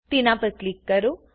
તેના પર ક્લિક કરો